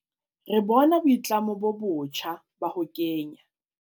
Re bona boitlamo bo botjha ba ho kenya